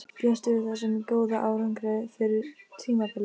Bjóstu við þessum góða árangri fyrir tímabilið?